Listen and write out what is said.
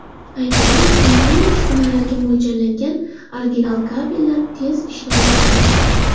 Aytaylik, kompaniya uskunalariga mo‘ljallangan original kabellar tez ishdan chiqadi.